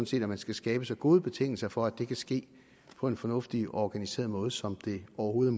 set at man skal skabe så gode betingelser for at det kan ske på en fornuftig og organiseret måde som det overhovedet